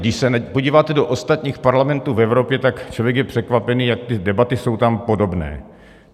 Když se podíváte do ostatních parlamentů v Evropě, tak člověk je překvapený, jak ty debaty jsou tam podobné.